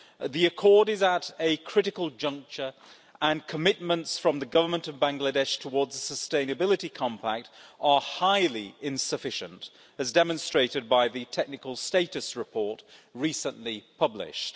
The accord is at a critical juncture, and commitments from the Government of Bangladesh towards the Sustainability Compact are highly insufficient, as demonstrated by the technical status report recently published.